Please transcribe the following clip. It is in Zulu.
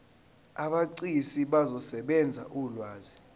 abegcis bazosebenzisa ulwazi